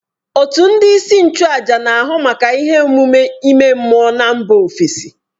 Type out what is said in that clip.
Òtù ndị isi nchụàjà na, ahụ maka ihe omume ime mmụọ na mba ofesi